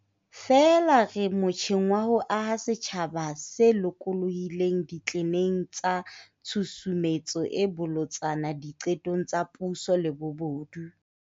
Feela re motjheng wa ho aha setjhaba se lokolohileng ditleneng tsa tshusumetso e bolotsana diqetong tsa puso le bobodu.